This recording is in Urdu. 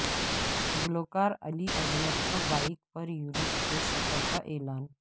گلوکار علی عظمت کا بائیک پر یورپ کے سفر کا اعلان